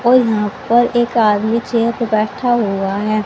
और यहां पर एक आदमी चेयर पे बैठा हुआ है।